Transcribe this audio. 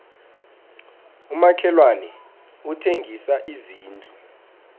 umakhelwani uthengisa izindlu